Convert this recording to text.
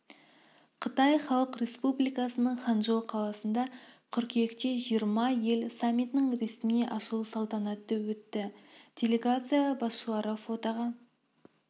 қытай халық республикасының ханчжоу қаласында қыркүйекте жиырма ел саммитінің ресми ашылу салтанаты өтті делегация басшылары фотоға